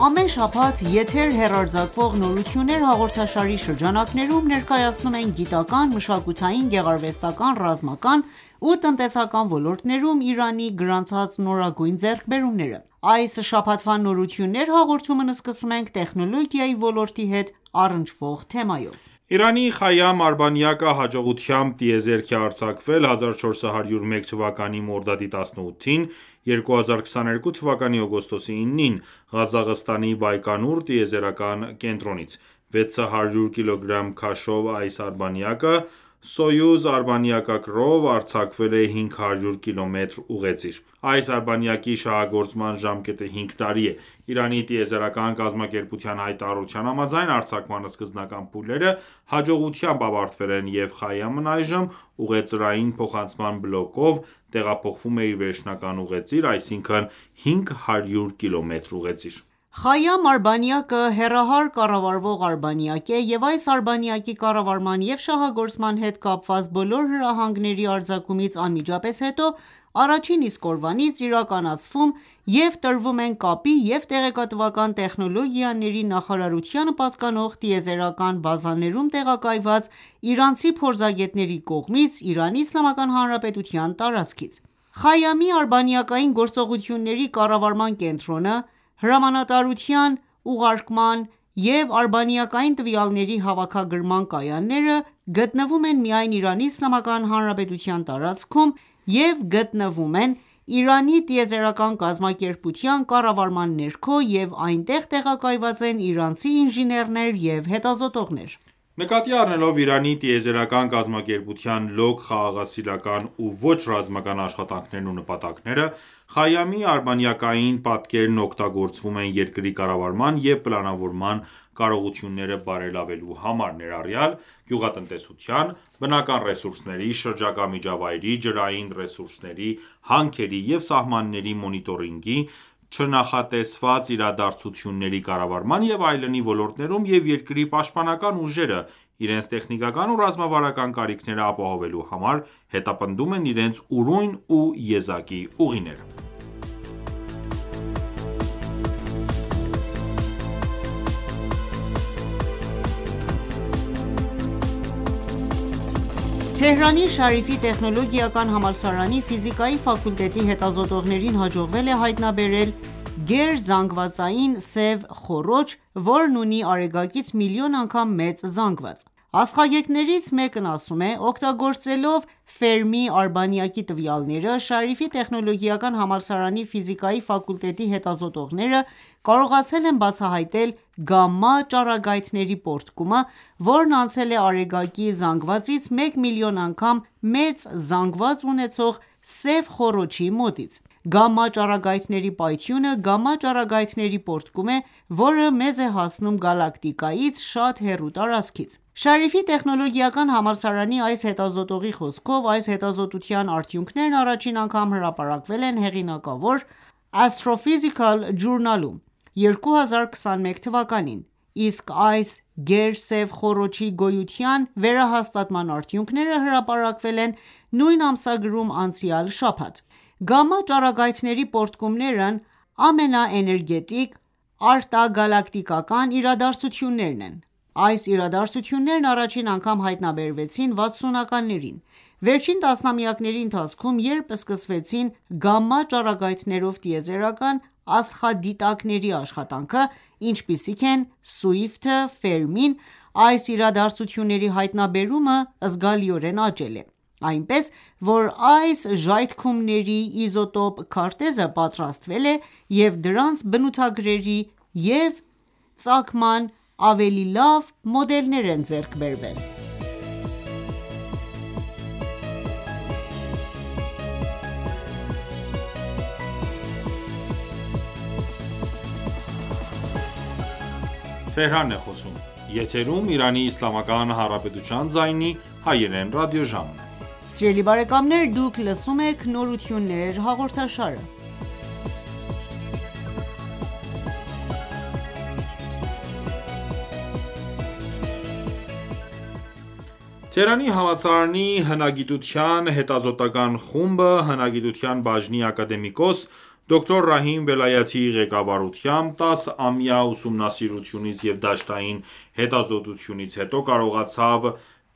Ամեն շաբաթ եթեր հեռարձակվող «Նորություններ» հաղորդաշարի շրջանակներում ներկայացնում ենք գիտական, մշակութային, գեղարվեստական, ռազմական ու տնտեսական ոլորտներում Իրանի գրանցած նորագույն ձեռքբերումները։ Այս շաբաթվա «Նորություններ» հաղորդումն սկսում ենք տեխնոլոգիայի ոլորտի հետ առնչվող թեմայով։ Իրանի «Խայամ» արբանյակը հաջողությամբ տիեզերք է արձակվել 1401 թվականի մորդադի 18-ին (2022 թվականի օգոստոսի 9-ին) Ղազախստանի Բայկոնուր տիեզերական կենտրոնից։600 կգ քաշով այս արբանյակը «Սոյուզ» արբանյակակրով արձակվել է 500 կմ ուղեծիր։ Այս արբանյակի շահագործման ժամկետը 5 տարի է։Իրանի տիեզերական կազմակերպության հայտարարության համաձայն՝ արձակման սկզբնական փուլերը հաջողությամբ ավարտվել են, և Խայամն այժմ ուղեծրային փոխանցման բլոկով տեղափոխվում է իր վերջնական ուղեծիր՝ այսինքն 500 կմ ուղեծիր։ Խայամ արբանյակը հեռահար կառավարվող արբանյակ է և այս արբանյակի կառավարման և շահագործման հետ կապված բոլոր հրահանգների արձակումից անմիջապես հետո ,առաջին իսկ օրվանից իրականացվում և տրվում են կապի և տեղեկատվական տեխնոլոգիաների նախարարությանը պատկանող տիեզերական բազաներում տեղակայված իրանցի փորձագետների կողմից՝Իրանի Իսլամական Հանրապետության տարածքից:«Խայամ»-ի արբանյակային գործողությունների կառավարման կենտրոնը, հրամանատարության ուղարկման և արբանյակային տվյալների հավաքագրման կայանները գտնվում են միայն Իրանի Իսլամական Հանրապետության տարածքում և գտնվում ենվ Իրանի տիեզերական կազմակերպության կառավարման ներքո և այնտեղ տեղակայված են իրանցի ինժեներներ և հետազոտողներ: Նկատի առնելով Իրանի տիեզերական կազմակերպության լոկ խաղաղասիրական ու ոչ ռազմական աշխատանքներն ու նպատակաները, «Խայամ»-ի արբանյակային պատկերներն օգտագործվում են երկրի կառավարման և պլանավորման կարողությունները բարելավելու համար, ներառյալ՝ գյուղատնտեսության, բնական ռեսուրսների, շրջակա միջավայրի, ջրային ռեսուրսների, հանքերի և սահմանների մոնիտորինգի, չնախատեսված իրադարձությունների կառավարման և այլնի ոլորտներում և երկրի պաշտպանական ուժերը, իրենց տեխնիկական ու ռազմավարական կարիքները ապահովելու համար, հետապնդում են իրենց ուրույն ու եզակի ուղիները: Թեհրանի Շարիֆի տեխնոլոգիական համալսարանի ֆիզիկայի ֆակուլտետի հետազոտողներին հաջողվել է հայտնաբերել գերզանգվածային սև խոռոչ, որն ունի Արեգակից միլիոն անգամ մեծ զանգված: Աստղագետներից մեկն ասում է- «Օգտագործելով արբանյակի տվյալները, Շարիֆի տեխնոլոգիական համալսարանի ֆիզիկայի ֆակուլտետի հետազոտողները կարողացել են բացահայտել «գամմա ճառագայթների պոռթկումը», որն անցել է արեգակի զանգվածից մեկ միլիոն անգամ մեծ զանգված ունեցող սև խոռոչի մոտից:Գամմա ճառագայթների պայթյունը գամմա ճառագայթների պոռթկում է, որը մեզ է հասնում գալակտիկայից շատ հեռու տարածքից»: Շարիֆի տեխնոլոգիական համալսարանի այս հետազոտողի խոսքով՝ այս հետազոտության արդյունքներն առաջին անգամ հրապարակվել են հեղինակավոր Astrophysical Journal-ում 2021 թվականին, իսկ այս գեր սև խոռոչի գոյության վերահաստատման արդյունքները հրապարակվել են նույն ամսագրում անցյալ շաբաթ։ Գամմա ճառագայթների պոռթկումներն ամենաէներգետիկ արտագալակտիկական իրադարձություններն են:Այս իրադարձություններն առաջին անգամ հայտնաբերվեցին վաթսունականներին:Վերջին տասնամյակների ընթացքում, երբ սկսվեցին գամմա-ճառագայթներով տիեզերական աստղադիտակների աշխատանքը, ինչպիսիք են՝ Swift-ը և Fermi-ն, այս իրադարձությունների հայտնաբերումը զգալիորեն աճել է:Այնպես, որ այս ժայթքումների իզոտրոպ քարտեզը պատրաստվել է, և դրանց բնութագրերի և ծագման ավելի լավ մոդելներ են ձեռք բերվել: Գերզանգվածային սև խոռոչի հայտնաբերումը Շարիֆի տեխնոլոգիական համալսարանի հետազոտողների կողմից Թեհրանի համալսարանի հնագիտության հետազոտական ​​խումբը՝ հնագիտության բաժնի ակադեմիկոս, դոկտոր Ռահիմ Վելայաթիի ղեկավարությամբ, 10 ամյա ուսումնասիրությունից և դաշտային հետազոտություններից հետո կարողացավ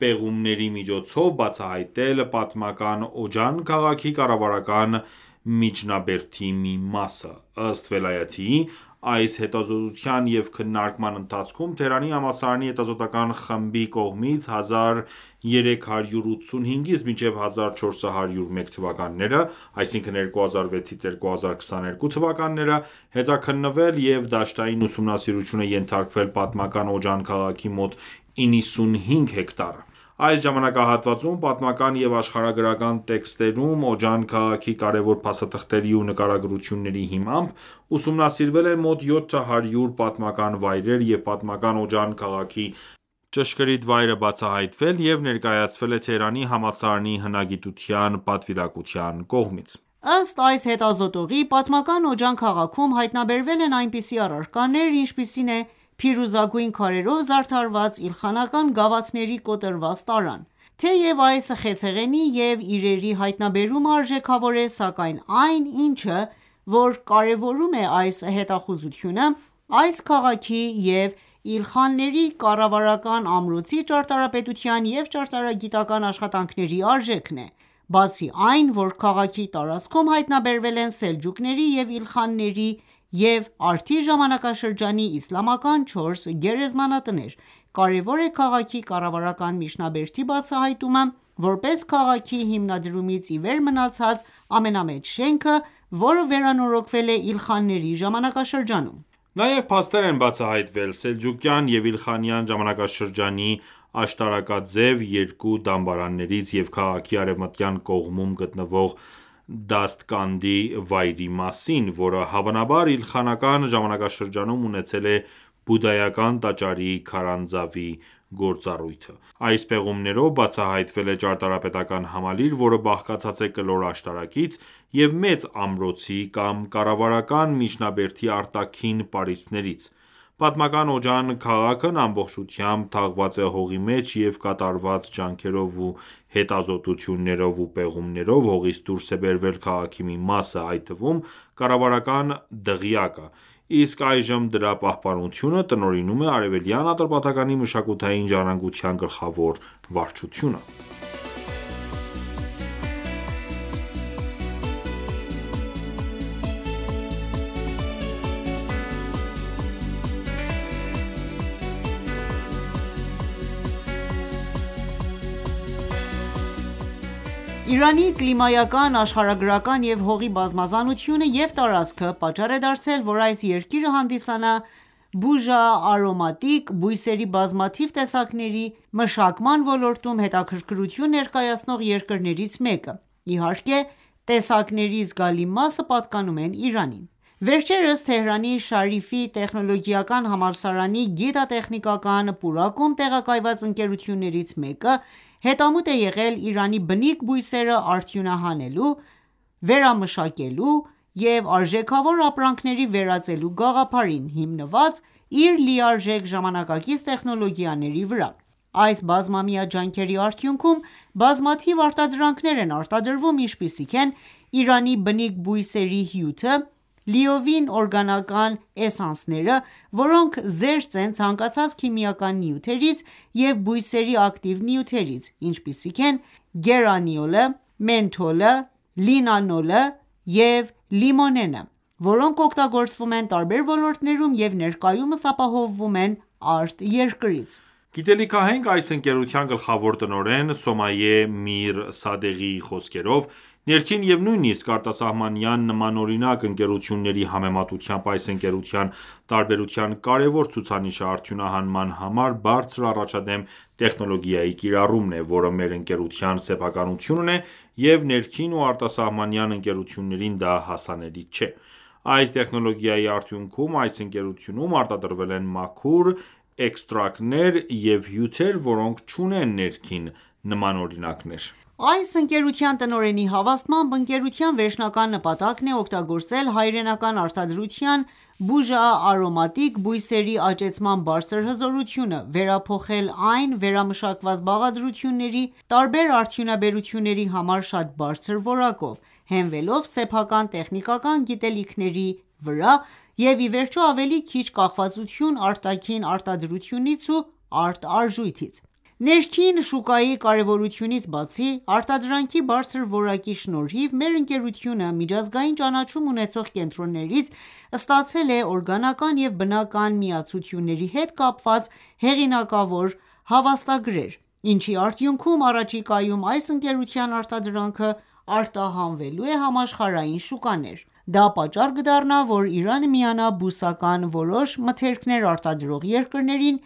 պեղումների միջոցով բացահայտել պատմական Օջան քաղաքի կառավարական միջնաբերդի մի մասը: Ըստ Վելայաթիի, այս հետազոտության և քննարկման ընթացքում Թեհրանի համալսարանի հետազոտական ​​խմբի կողմից 1385-ից մինչև 1401 թվականները (2006-2022 թթ.) հետաքննվել և դաշտային ուսումնասիրության են ենթարկվել պատմական Օջան քաղաքի մոտ 95 հեկտարը:Այս ժամանակահատվածում, պատմական և աշխարհագրական տեքստերում Օջան քաղաքի կարևոր փաստաթղթերի ու նկարագրությունների հիմամբ, ուսումնասիրվել են մոտ 700 պատմական վայրեր և պատմական Օջան քաղաքի ճշգրիտ վայրը բացահայտվել և ներկայացվել է Թեհրանի համալսարանի հնագիտության պատվիրակության կողմից: Ըստ այս հետազոտողի՝ պատմական Օջան քաղաքում հայտնաբերվել են այնպիսի առարկաներ, ինչպիսին է փիրուզագույն քարերով զարդարված իլխանական գավաթների կոտրված տարան։ Թեև այս խեցեղենի և իրերի հայտնաբերումը արժեքավոր է, սակայն այն ինչը ,որ կարևորում է այս հետախուզությունը ,այս քաղաքի և Իլխանյանների կառավարական ամրոցի ճարտարապետության և ճարտարագիտական ​​աշխատանքների արժեքն է:Բացի այն որ քաղաքի տարածքում հայտնաբերվել են Սելջուկների և Իլխանների և արդի ժամանակաշրջանի իսլամական 4 գերեզմանատներ, կարևոր է քաղաքի կառավարական միջնաբերդի բացահայտումը՝ որպես քաղաքի հիմնադրումից ի վեր մնացած ամենամեծ շենքը, որը վերանորոգվել է Իլխանների ժամանակաշրջանում։ Նաև փաստեր են բացահայտվել սելջուկյան և իլխանյան ժամանակաշրջանի աշտարակաձև երկու դամբարաններից և քաղաքի արևմտյան կողմում գտնվող Դաստկանդի վայրի մասին, որը հավանաբար Իլխանական ժամանակաշրջանում ունեցել է բուդդայական տաճարի քարանձավի գործառույթը: Այս պեղումներով բացահայտվել է ճարտարապետական ​​համալիր, որը բաղկացած է կլոր աշտարակից և մեծ ամրոցի կամ կառավարական միջնաբերդի արտաքին պարիսպներից։ Պատմական Օջան քաղաքն ամբողջությամբ թաղված է հողի մեջ, և կատարված ջանքերով ու հետազոտություններով ու պեղումներով հողից դուրս է բերվել քաղաքի մի մասը, այդ թվում՝ կառավարական դղյակը։ Իսկ այժմ դրա պահպանությունը տնօրինում է Արեւելյան Ատրպատականի մշակութային ժառանգության գլխավոր վարչությունը։ Թեհրանի համալսարանի հետազոտողների կողմից պատմական Օջան քաղաքի հայտնաբերումը Իրանի կլիմայական, աշխարհագրական և հողի բազմազանությունը և տարածքը պատճառ է դարձել ,որ այս երկիրը հանդիսանա բուժա-արոմատիկ բույսերի բազմաթիվ տեսակների մշակման ոլորտում հետաքրքրություն ներկայացնող երկրներից մեկը, իհարկե, տեսակների զգալի մասը պատկանում են Իրանին:Վերջերս Թեհրանի Շարիֆի տեխնոլոգիական համալսարանի գիտատեխնիկական պուրակում տեղակայված ընկերություններից մեկը հետամուտ է եղել Իրանի բնիկ բույսերը արդյունահանելու, վերամշակելու և արժեքավոր ապրանքների վերածելու գաղափարին՝ հիմնված իր լիարժեք ժամանակակից տեխնոլոգիաների վրա:Այս բազմամյա ջանքերի արդյունքում բազմաթիվ արտադրանքներ են արտադրվում ինչպիսիք են՝ Իրանի բնիկ բույսերի հյութը, լիովին օրգանական էսանսներ, որոնք զերծ են ցանկացած քիմիական նյութերից և բույսերի ակտիվ նյութերից, ինչպիսիք են գերանիոլը, մենթոլը, լինանոլը և լիմոնենը, որոնք օգտագործվում են տարբեր ոլորտներում և ներկայումս ապահովվում են արտերկրից: Գիտելիքահենք այս ընկերության գլխավոր տնօրեն Սոմայե Միր Սադեղիի խոսքերով՝ ներքին և նույնիսկ արտասահմանյան նմանօրինակ ընկերությունների համեմատությամբ այս ընկերության տարբերության կարևոր ցուցանիշը արդյունահանման համար բարձր առաջադեմ տեխնոլոգիայի կիրառումն է, որը մեր ընկերության սեփականությունն է,և ներքին ու արտասահմանյան ընկերություններին դա հասանելի չէ: Այս տեխնոլոգիայի արդյունքում այս ընկերությունում արտադրվել են մաքուր էքստրակտներ և հյութեր, որոնք չունեն ներքին նմանօրինակներ: Այս ընկերության տնօրենի հավաստմամբ, ընկերության վերջնական նպատակն է օգտագործել հայրենական արտադրության բուժա-արոմատիկ բույսերի աճեցման բարձր հզորությունը, վերափոխել այն վերամշակված բաղադրությունների ,տարբեր արդյունաբերությունների համար՝ շատ բարձր որակով, հենվելով սեփական տեխնիկական գիտելիքների վրա և, ի վերջո, ավելի քիչ կախվածություն արտաքին արտադրությունից ու արտարժույթից: Ներքին շուկայի կարևորությունից բացի, արտադրանքի բարձր որակի շնորհիվ մեր ընկերությունը միջազգային ճանաչում ունեցող կենտրոններից ստացել է օրգանական և բնական միացությունների հետ կապված հեղինակավոր հավաստագրեր, ինչի արդյունքում առաջիկայում այս ընկերության արտադրանքը արտահանվելու է համաշխարհային շուկաներ։ Դա պատճառ կդառնա ,որ Իրանը միանա բուսական որոշ մթերքներ արտադրող երկրներին,